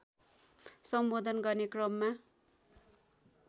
सम्बोधन गर्ने क्रममा